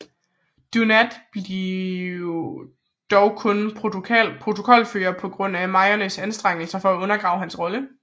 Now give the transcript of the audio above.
Dunant blev dog kun protokolfører på grund af Moyniers anstrengelser for at undergrave hans rolle